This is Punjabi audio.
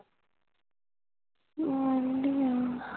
ਵਦੀਆਂ